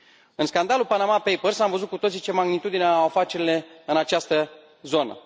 În scandalul Panama Papers am văzut cu toții ce magnitudine au afacerile în această zonă.